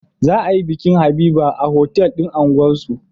Za a yi bikin habiba a otal din unguwar su